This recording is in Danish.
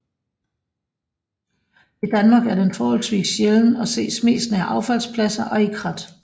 I Danmark er den forholdsvis sjælden og ses mest nær affaldspladser og i krat